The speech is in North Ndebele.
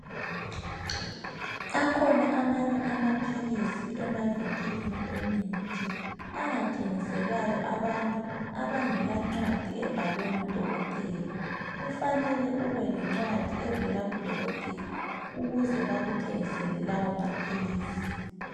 Akhona amanye amaphilisi emavinkilini emithi angathengiselwayo abantu abangela ncwadi ebhalwe ngudokotela. Kufanele ube lencwadi evela kudokotela ukuze bakuthengisele lawo maphilisi.